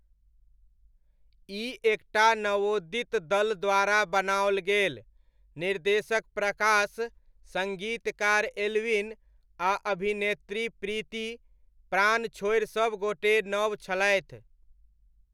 ई एक टा नवोदित दल द्वारा बनाओल गेल, निर्देशक प्रकाश, सङ्गीतकार एल्विन आ अभिनेत्री प्रीति, प्राण छोड़ि सभगोटे नव छलथि।